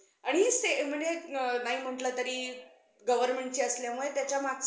आणि म्हणजे नाही म्हणलं तरी governmentची असल्यामुळे